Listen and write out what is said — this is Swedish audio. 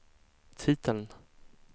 titeln